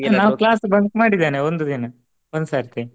ಹಾ ನಾ class bunk ಮಾಡಿದೆನೆ ಒಂದು ದಿನ ಒಂದು ಸಾರ್ತಿ